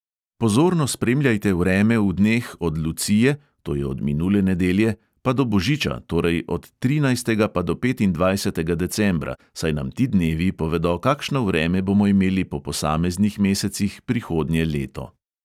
Pozorno spremljajte vreme v dneh od lucije, to je od minule nedelje, pa do božiča, torej od trinajstega pa do petindvajsetega decembra, saj nam ti dnevi povedo, kakšno vreme bomo imeli po posameznih mesecih prihodnje leto.